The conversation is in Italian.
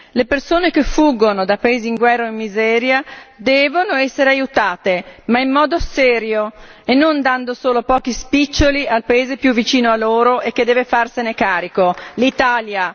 Le persone che fuggono da paesi in guerra o in miseria devono essere aiutate, ma in modo serio e non dando solo pochi spiccioli al paese più vicino a loro e che deve farsene carico l'Italia.